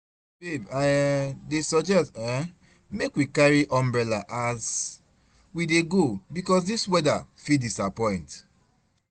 Babe I um dey suggest um make we carry umbrella as we dey go because this weather fit disappoint